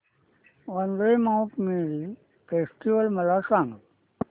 Vandre Mount Mary festival मला सांग